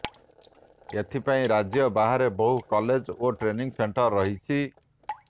ଏଥିପାଇଁ ରାଜ୍ୟ ବାହାରେ ବହୁ କଲେଜ ଓ ଟ୍ରେନିଂ ସେଣ୍ଟର ରହିଛି